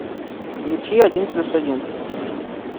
включи один плюс один